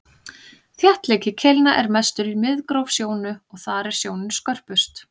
þéttleiki keilna er mestur í miðgróf sjónu og þar er sjónin skörpust